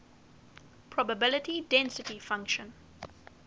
probability density function